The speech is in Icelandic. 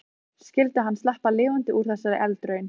Skyldi hann sleppa lifandi úr þessari eldraun?